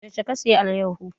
Yaushe ka saya alayyafo?